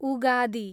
Ugadi